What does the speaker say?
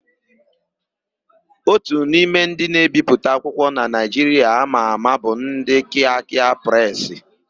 Ótù n'ime ndị na-ebipụta akwụkwọ na Naịjiria ama ama bụ ndị Kịakịa Presị.